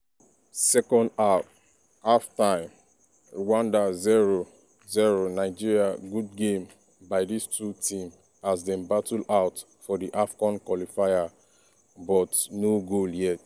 second half half-time rwanda 0-0 nigeria good game by dis two team as dem battle out for di afcon qualifier but no goal yet.